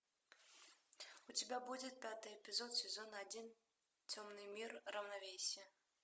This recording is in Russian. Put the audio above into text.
у тебя будет пятый эпизод сезон один темный мир равновесие